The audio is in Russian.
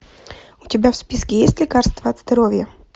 у тебя в списке есть лекарство от здоровья